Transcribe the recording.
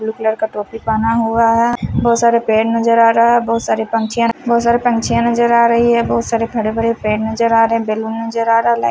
blue colour का टोपी पहना हुआ है बहुत सारे पेड़ नज़र आ रहा है बहुत सारे पंक्षियाँ बहुत सारे पंक्षियाँ नज़र आया रही है बहुत सारे हरे भरे पेड़ नज़र आ रहे हैं बैलून नज़र आ रहा है लाईट --